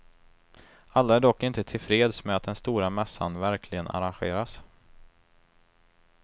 Alla är dock inte till freds med att den stora mässan verkligen arrangeras.